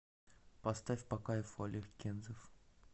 поставь по кайфу олег кензов